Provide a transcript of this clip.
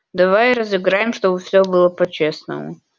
давай разыграем чтобы все было по-честному